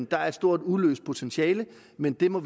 der er et stort uforløst potentiale men vi må